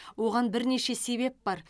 оған бірнеше себеп бар